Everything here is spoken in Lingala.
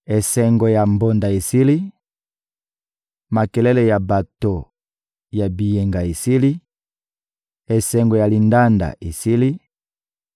Esengo ya mbonda esili, makelele ya bato ya biyenga esili, esengo ya lindanda esili;